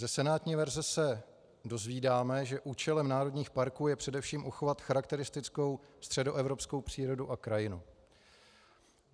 Ze senátní verze se dozvídáme, že účelem národních parků je především uchovat charakteristickou středoevropskou přírodu a krajinu.